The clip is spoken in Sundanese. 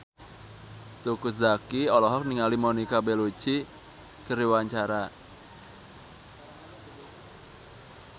Teuku Zacky olohok ningali Monica Belluci keur diwawancara